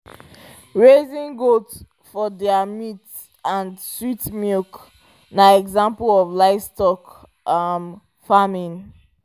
raising goat for their meat and sweet milk na example of livestock um farming